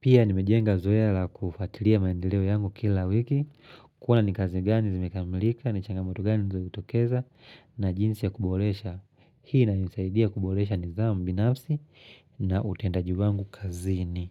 Pia nimejenga zoea la kufatilia maendeleo yangu kila wiki Kua ni kazi gani zimekamilika, ni changamotu gani zilizo jitokeza na jinsi ya kubolesha Hii inanisaidia kuboresha nidhamu binafsi na utendaji wangu kazini.